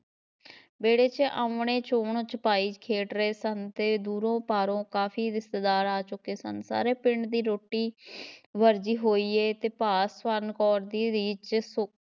ਵਿਹੜੇ ‘ਚ ਅੰਞਣੇ ਛੂਹਣ ਛਪਾਈ ਖੇਡ ਰਹੇ ਸਨ ਤੇ ਦੂਰੋਂ ਪਾਰੋਂ ਕਾਫ਼ੀ ਰਿਸ਼ਤੇਦਾਰ ਆ ਚੁੱਕੇ ਸਨ, ਸਾਰੇ ਪਿੰਡ ਦੀ ਰੋਟੀ ਵਰਜੀ ਹੋਈ ਹੈ ਤੇ ਭਾ ਸਵਰਨ ਕੌਰ ਦੀ ਰੀਝ